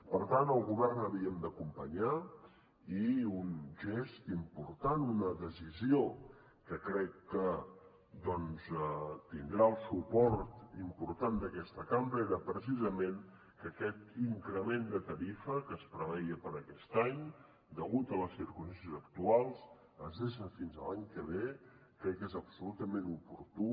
per tant el govern havíem d’acompanyar los i un gest important una decisió que crec que doncs tindrà el suport important d’aquesta cambra era precisament que aquest increment de tarifa que es preveia per a aquest any degut a les circumstàncies actuals es deixa fins a l’any que ve crec que és absolutament oportú